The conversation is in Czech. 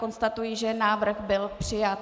Konstatuji, že návrh byl přijat.